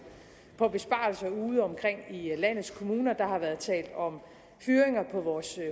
på besparelser ude omkring i landets kommuner der har været talt om fyringer på vores